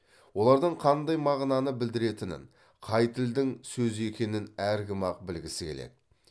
олардың қандай мағынаны білдіретінін қай тілдің сөзі екенін әркім ақ білгісі келеді